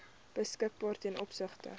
beskikbaar ten opsigte